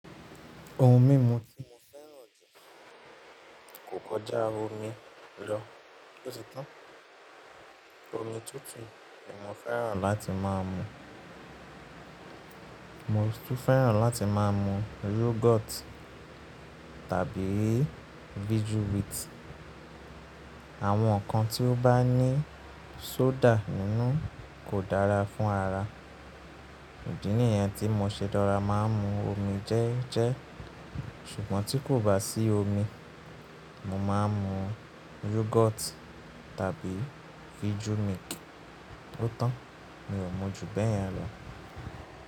Ohun mímu tí mo fẹ́ràn jù kò kọjá omi lọ, ó ti tán. Omi tútù ni mo fẹ́ràn láti má a mu. Mo tún fẹ́ràn láti má a mu yogurt tàbí vijú wíìtì. Àwọn nǹkan tí ó bá ní soda nínú kò dára fún ara. Òdí nìyẹn tí mo ṣe dára má a mu omi jẹ́ẹ́jẹ́. Ṣùgbọ́n tí kò bá sí omi, mo má a mu yogurt tàbí vijú milk. Ó tọ́n, mi ò mu jù bẹ́ẹ̀ yẹn lọ.